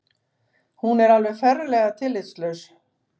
Hún er alveg ferlega tillitslaus